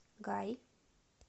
гай